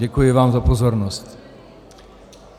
Děkuji vám za pozornost.